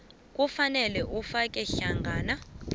kufanele kufake hlangana